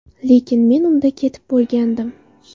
Lekin men unda ketib bo‘lgandim”.